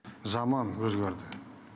заман өзгерді